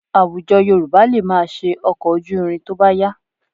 Àwùjọ Yorùbá lè máa ṣe ọkọ̀ ojú irin tó bá yá